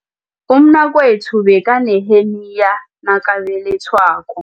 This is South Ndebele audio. Umnakwethu bekaneheniya nakabelethwako.